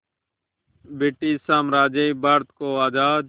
British साम्राज्य भारत को आज़ाद